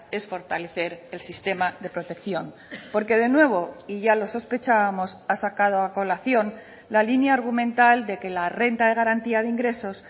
es fortalecer el sistema de protección porque de nuevo y ya lo sospechábamos ha sacado a colación la línea argumental de que la renta de garantía de ingresos